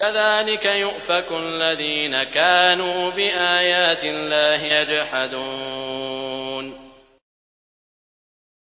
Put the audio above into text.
كَذَٰلِكَ يُؤْفَكُ الَّذِينَ كَانُوا بِآيَاتِ اللَّهِ يَجْحَدُونَ